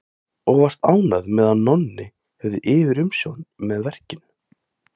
Og varst ánægð með að Nonni hefði yfirumsjón með verkinu.